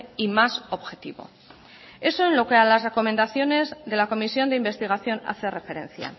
y más objetivo eso en lo que a las recomendaciones de la comisión de investigación hace referencia